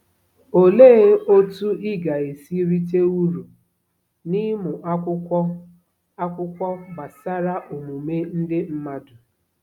Olee otú ị ga-esi rite uru n’ịmụ akwụkwọ akwụkwọ gbasara omume ndị mmadụ?